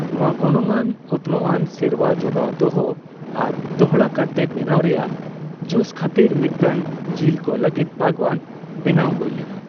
ᱱᱚᱣᱟ ᱜᱚᱱᱚᱝᱟᱱ ᱚᱛᱱᱚᱜ ᱟᱱ ᱥᱮᱨᱣᱟ ᱡᱚᱜᱟᱣ ᱫᱚᱦᱚ ᱟᱨ ᱫᱚᱦᱚᱲᱟ ᱠᱟᱨᱛᱮ ᱵᱮᱱᱟᱣ ᱨᱮᱭᱟᱜ ᱡᱚᱥ ᱠᱷᱟᱹᱛᱤᱨ ᱢᱤᱫᱴᱟᱝ ᱡᱤᱞ ᱠᱚ ᱞᱟᱹᱜᱤᱫ ᱵᱟᱜᱣᱟᱱ ᱵᱮᱱᱟᱣ ᱦᱳᱭ ᱞᱮᱱᱟ ᱾